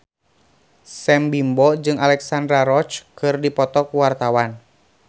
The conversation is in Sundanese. Sam Bimbo jeung Alexandra Roach keur dipoto ku wartawan